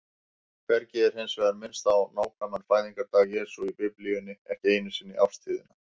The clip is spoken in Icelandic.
Hvergi er hins vegar minnst á nákvæman fæðingardag Jesú í Biblíunni, ekki einu sinni árstíðina.